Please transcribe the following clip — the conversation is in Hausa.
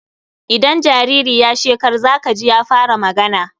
Idan jariri ya shekar za ka ji ya fara magana.